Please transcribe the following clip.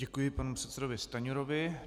Děkuji panu předsedovi Stanjurovi.